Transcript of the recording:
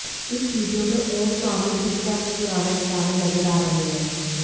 इस वीडियो में ओम स्वामी फिर से अपने पुराने अवतार में नज़र आ रहे हैं